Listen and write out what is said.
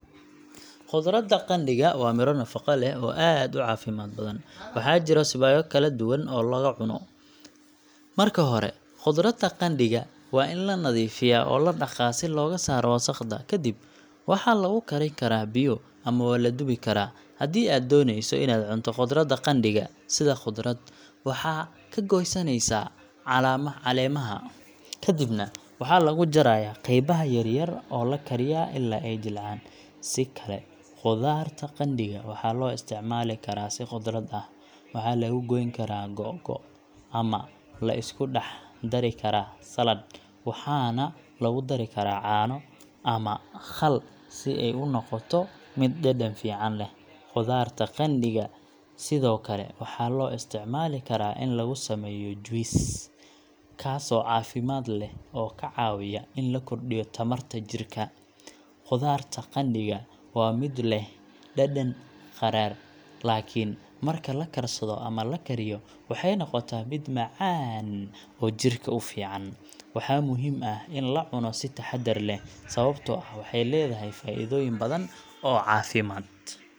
Khudaarta qandhiga waa midho nafaqo leh oo aad u caafimaad badan. Waxaa jira siyaabo kala duwan oo lagu cunno. Marka hore, khudaarta qandhiga waa in la nadiifiyaa oo la dhaqaa si looga saaro wasakhda. Kadib, waxaa lagu karin karaa biyo ama waa la dubi karaa. Haddii aad dooneyso inaad cunto khudaarta qandhiga sida khudrad, waxaad ka goyneysaa caleemaha, kadibna waxaa lagu jarayaa qaybaha yaryar oo la kariyaa ilaa ay jilcaan. Si kale, khudaarta qandhiga waxaa loo isticmaali karaa si khudrad ah. Waxaa lagu goyn karaa googo' ama la isku dhex dari karaa saladh, waxaana lagu dari karaa caano ama khal si ay u noqoto mid dhadhan fiican leh. Khudaarta qandhiga sidoo kale waxaa loo isticmaali karaa in lagu sameeyo juice, kaasoo caafimaad leh oo ka caawiya in la kordhiyo tamarta jirka. Khudaarta qandhiga waa midho leh dhadhan qadhaadh, laakiin marka la karsado ama la kariyo waxay noqotaa mid macaan oo jidhka u fiican. Waxaa muhiim ah in la cuno si taxaddar leh, sababtoo ah waxay leedahay faa'iidooyin badan oo caafimaad.